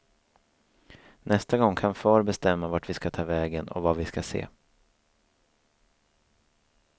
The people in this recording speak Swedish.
Nästa gång kan far bestämma vart vi ska ta vägen och vad vi ska se.